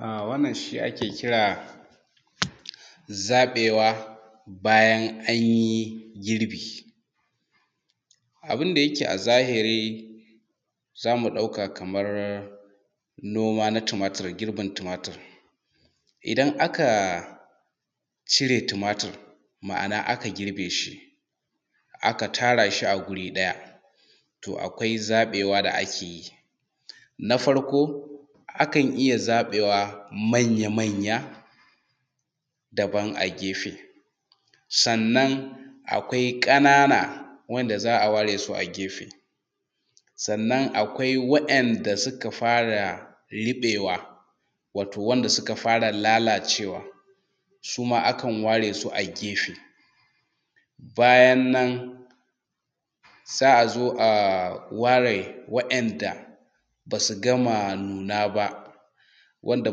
Wannan shi ake kira da zaɓewa bayan an yi girbi. Abun da yake a zahiri zamu ɗauka kamar noma na tumatir gibin tumatir. Idan aka cire tumatir ma'ana aka girbe shi, aka tara shi a wuri ɗaya. To akwai zaɓewa da ake yi. Na farko akan iya zaɓewa manya manya daban, a gefe sannan akwai ƙanana wanda za a ware su gefe. Sannan akwai wa'inda suka fara ruɓewa wato wanda suka fara lalacewa, suma akan ware su a gefe. Bayan nan za a zo a ware wa'inda basu gama nuna ba wanda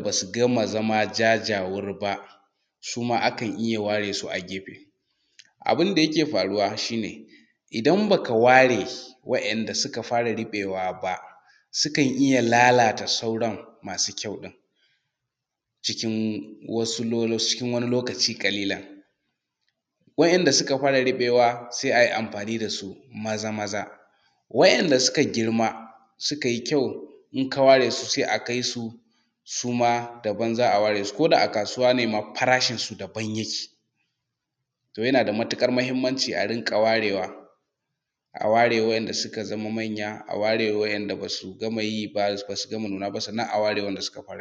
basu gama zama jajawur ba, suma akan iya ware su a gefe. Abun da yake faruwa shi ne idan baka ware wa'inda suka fara ruɓewa ba sukan iya lallata sauran masu kyau ɗin, cikin wasu lokaci ƙallilan. Wa'inda suka fara ruɓewaba sai a yi amfani dasu maza maza, wa'inda suka girma suka yi kyau in ka waresu sai akai su suma daban za a ware su ko da a kasuwa ne ma farashin su daban yake. To yana da matuƙar muhimmanci a dinga ware wa, a ware wa'inda suka zama manya, a ware wa'inda ba su gama yi ba, ba su gama nuna ba, sannan a ware suka fara nuna.